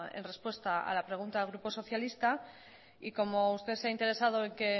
en respuesta a la pregunta del grupo socialista y como usted se ha interesado que